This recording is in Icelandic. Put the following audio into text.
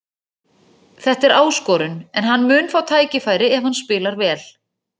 Þetta er áskorun en hann mun fá tækifæri ef hann spilar vel.